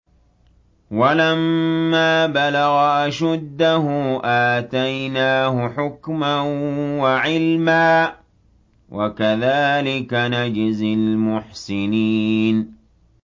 وَلَمَّا بَلَغَ أَشُدَّهُ آتَيْنَاهُ حُكْمًا وَعِلْمًا ۚ وَكَذَٰلِكَ نَجْزِي الْمُحْسِنِينَ